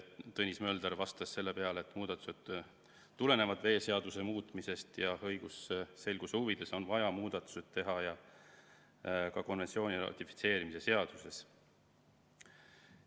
Tõnis Mölder vastas selle peale, et muudatused tulenevad veeseaduse muutmisest ja õigusselguse huvides on vaja muudatusi teha ka konventsiooni ratifitseerimise seaduses.